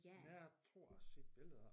Jeg tror jeg har set billeder af